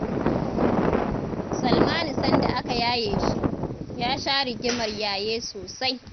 Salmanu sanda aka yaye shi, ya sha rigimar yaye sosai.